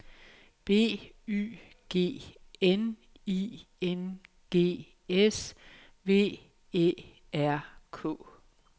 B Y G N I N G S V Æ R K